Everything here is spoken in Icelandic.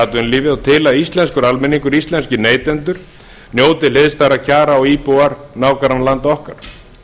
atvinnulífið og til að íslenskur almenningur íslenskir neytendur njóti hliðstæðra kjara og íbúar nágrannalanda okkar